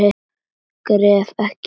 Gref ekki yfir það.